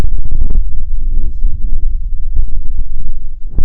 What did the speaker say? денисе юрьевиче